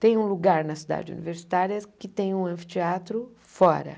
Tem um lugar na cidade universitária que tem um anfiteatro fora.